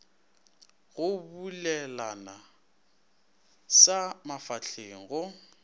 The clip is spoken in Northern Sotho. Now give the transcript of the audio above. go bulelana sa mafahleng go